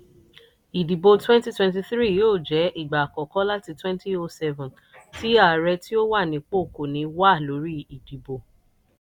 ìdìbò 2023 yóò jẹ́ ìgbà àkọ́kọ́ láti 2007 tí ààrẹ tí ó wà nípò kò ní wà lórí ìdìbò.